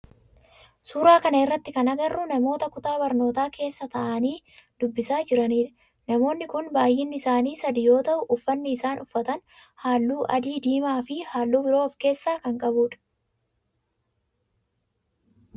Suuraa kana irratti kan agarru namoota kutaa barnootaa keessa ta'aani dubbisaa jiranidha. Namoonni kun baayyinni isaani sadi yoo ta'u ufanni isaan uffatan halluu adii, diimaa fi halluu biroo of keessaa kan qabudha.